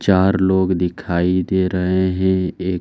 चार लोग दिखाई दे रहे हैं। एक --